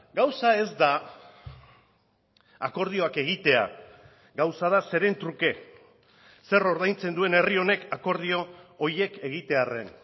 gauza ez da akordioak egitea gauza da zeren truke zer ordaintzen duen herri honek akordio horiek egitearren